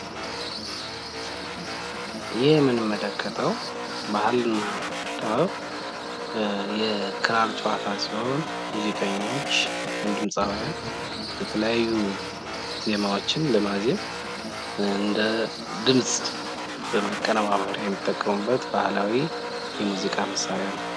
ይህ የምንመለከተዉ ባህልና ጥበብ የክራር ጨዋታ ሲሆን ሙዚቀኞች የተለያዩ ዜማዎችን ለማዜም እንደ ድምፅ ማቀነባበር የሚጠቀሙበት ባህላዊ የሙዚቃ መሳሪያ ነው ።